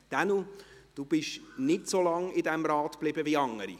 Daniel Trüssel, Sie sind nicht so lange in diesem Rat geblieben wie andere.